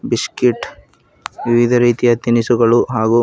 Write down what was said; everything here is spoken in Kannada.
ಬಿಸ್ಕೀಟ್ ವಿವಿಧ ರೀತಿಯ ತಿನಿಸುಗಳು ಹಾಗೂ.